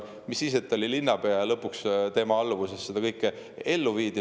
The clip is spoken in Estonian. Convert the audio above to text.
Mis siis, et ta oli linnapea ja tema alluvuses seda kõike ellu viidi.